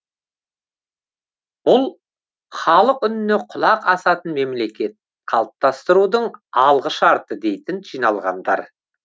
бұл халық үніне құлақ асатын мемлекет қалыптастырудың алғышарты дейді жиналғандар